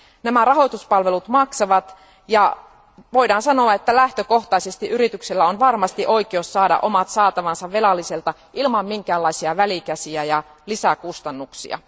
Nämä rahoituspalvelut maksavat ja voidaan sanoa, että lähtökohtaisesti yrityksillä on oikeus saada omat saatavansa velalliselta ilman minkäänlaisia välikäsiä ja lisäkustannuksia.